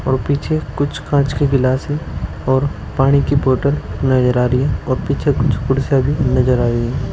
और पीछे कुछ कांच के गिलास है और पानी की बोतल नजर आ रही है और पीछे कुछ कुर्सियां भी नजर आ रही है।